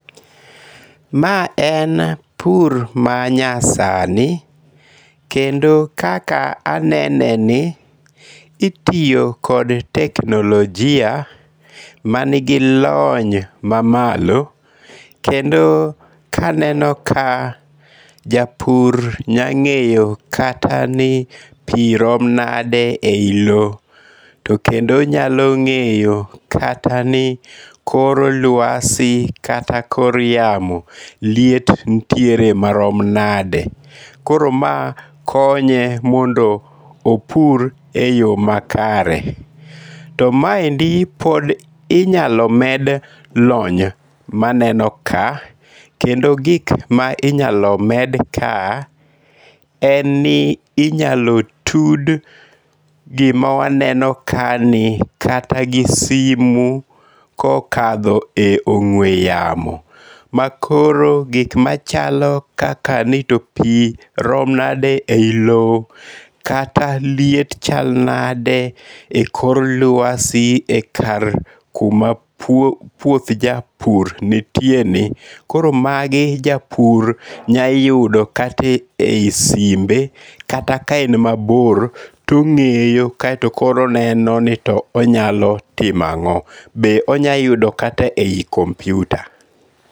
Ma en pur manyasani kendo kaka aneneni, itiyo kod teknolojia manigi lony mamalo kendo kaneno kae japur nya nge'yo kata ni pi rom nade e yi lo, to kendo onyalo ngi'yo kata ni kor luasi kata kor yamo liet nitiere marom nade. Koro mae konye mondo opur e yo makare, to maendi pod inyalo med lony maneno ka, kendo gik ma inyalo med ka en ni inyalo tud gima waneno kae ni kata gi simu kokatho e ong'we yamo, ma koro gik machalo kaka ni to pi rom nade eyi lowo kata liet chal nade e kor luasi e kar kuma puoth japur nitieni koro magi japur nyayudo kata e yi simbe kata ka en mabor to onge'yo kaito koro oneno ni onyalo timo ango', be onyalo yudo kata e yi computer